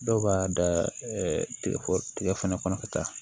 Dɔw b'a da tigɛ fɛnɛ kɔnɔ ka taa